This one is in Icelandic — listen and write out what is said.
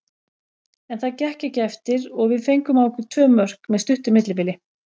En það gekk ekki eftir og við fengum á okkur tvö mörk með stuttu millibili.